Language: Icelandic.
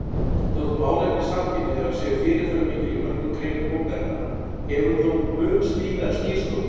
Þótt málefni samkynhneigðra séu fyrirferðarmikil í mörgum greinum bókarinnar hefur hún þó mun víðari skírskotun.